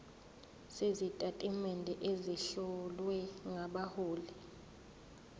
sezitatimende ezihlowe ngabahloli